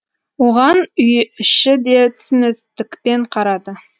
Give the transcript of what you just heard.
оған үй іші де түсіністікпен қарады